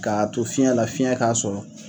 K'a to fiɲɛ la fiɲɛ k'a sɔrɔ.